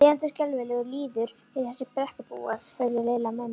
Lifandi skelfilegur lýður eru þessir Brekkubúar. heyrði Lilla mömmu